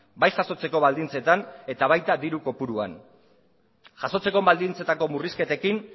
bai jasotzeko baldintzetan eta baita diru kopuruan jasotzeko baldintzetako murrizketekin